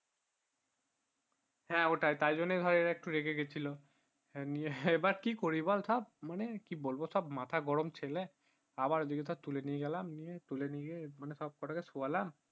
হ্যাঁ ওটাই তাইজন্য ধরে এরা একটু রেগে গেছিলো নিয়ে আবার কি করি বল সব মানে কি বলবো সব মাথা গরম ছেলে আবার ওদের ধরে তুলেনিয়ে গেলাম তুলেনিয়ে গিয়ে সব কোটাকে শুয়ালাম